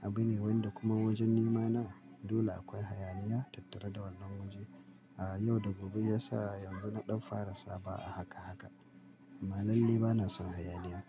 abin wanda kuma wajen nema na dole akwai hayaniya tattare da wannan wajen. A'a, yau da gobe ya sa yanzu na ɗan fara saba a haka haka. Amman lalle ba na son hayaniya.